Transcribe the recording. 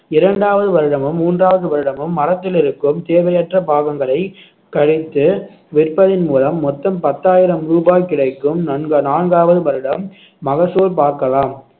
இரண்டாவது வருடமும் மூன்றாவது வருடமும் மரத்தில் இருக்கும் தேவையற்ற பாகங்களை கழித்து விற்பதின் மூலம் மொத்தம் பத்தாயிரம் ரூபாய் கிடைக்கும் நன்கா~ நான்காவது வருடம் மகசூல் பார்க்கலாம்